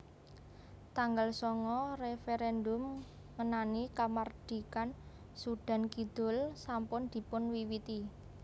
Tanggal sanga Referèndum ngenani kamardikan Sudan Kidul sampun dipun wiwiti